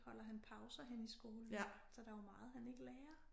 Holder han pauser henne i skolen så der jo meget han ikke lærer